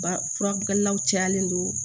Ba furakilaw cayalen don